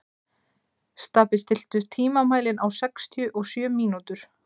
Stapi, stilltu tímamælinn á sextíu og sjö mínútur.